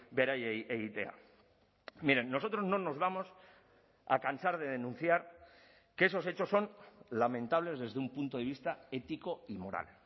beraiei egitea miren nosotros no nos vamos a cansar de denunciar que esos hechos son lamentables desde un punto de vista ético y moral